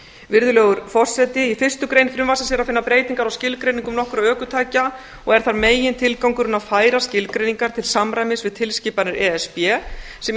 virðulegur forseti í fyrstu grein er að finna breytingar á skilgreiningum nokkurra ökutækja og er þar megintilgangurinn að færa skilgreiningarnar til samræmis við tilskipanir e s b sem